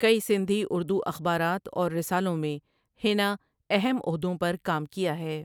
کئی سندھی اردو اخبارات اور رسالوں میں ہینا اہم عہدوں پر کام کیا ہے ۔